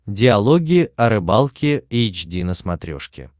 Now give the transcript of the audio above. диалоги о рыбалке эйч ди на смотрешке